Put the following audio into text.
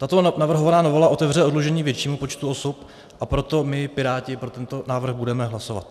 Tato navrhovaná novela otevře oddlužení většímu počtu osob, a proto my, Piráti, pro tento návrh budeme hlasovat.